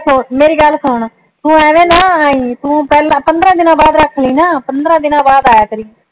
ਮੇਰੀ ਗੱਲ ਸੁਣ ਤੂੰ ਅਵੀ ਨਾ ਆਈ ਤੂੰ ਪੈਹਲਾ ਪੰਦਰਾਂ ਦੀਨਾ ਬਾਅਦ ਰੱਖ ਲਈ ਆ ਪੰਦਰਾਂ ਦੀਨਾ ਬਾਅਦ ਆਈਆ ਕਰਿ